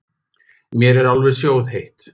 Mér er alveg sjóðheitt.